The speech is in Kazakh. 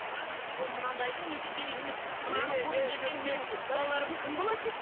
бұл мынандайдың несі керек емес мынаны көріп ертең менің балаларым кім болады